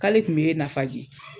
K'ale tun bee Nafaji